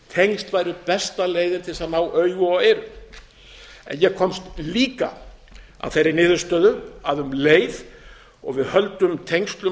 tengsl væru besta leiðin til þess að ná augum og eyrum en ég komst líka að meiri niðurstöðu að um leið og við höldum tengslum